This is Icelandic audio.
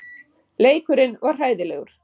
Leikurinn var hræðilegur.